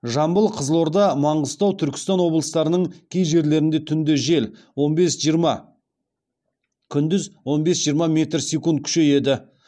жамбыл қызылорда маңғыстау түркістан облыстарының кей жерлерінде түнде жел он бес жиырма күндіз он бес жиырма метр секунд күшейеді